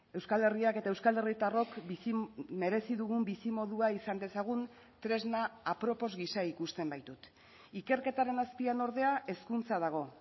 euskal herriak eta euskal herritarrok merezi dugun bizimodua izan dezagun tresna apropos gisa ikusten baitut ikerketaren azpian ordea hezkuntza dago